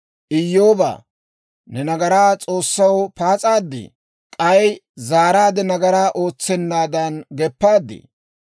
«Iyyoobaa, ne nagaraa S'oossaw paas'adii? K'ay zaaraadde nagaraa ootsennaadan geppaadii?